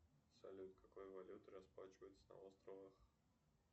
салют какой валютой расплачиваются на островах